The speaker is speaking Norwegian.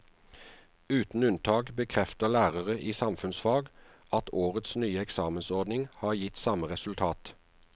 Uten unntak bekrefter lærere i samfunnsfag at årets nye eksamensordning har gitt samme resultat.